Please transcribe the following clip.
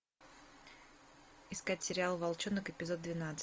искать сериал волчонок эпизод двенадцать